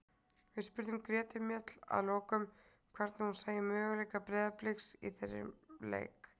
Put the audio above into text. Við spurðum Gretu Mjöll að lokum hvernig hún sæi möguleika Breiðabliks í þeim leik.